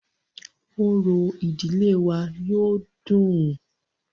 Orò ìdílé wa yóó dùn-ùn.